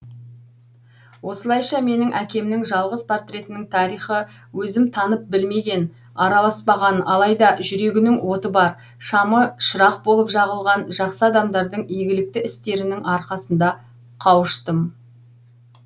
осылайша менің әкемнің жалғыз портретінің тарихы өзім танып білмеген араласпаған алайда жүрегінің оты бар шамы шырақ болып жағылған жақсы адамдардың игілікті істерінің арқасында қауыштым